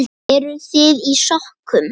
Eruð þið í sokkum?